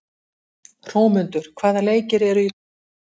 Hrómundur, hvaða leikir eru í kvöld?